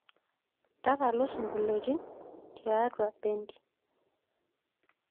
tatalu singoliotin tiatua bendi